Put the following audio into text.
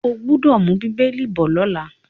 O gbọ́dọ̀ mú “bíbélì” bọ̀ lọ́la.